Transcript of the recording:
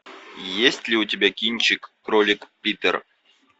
есть ли у тебя кинчик кролик питер